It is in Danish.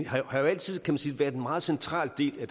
har jo altid kan man sige været en meget central del af